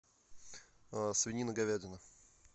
свинина говядина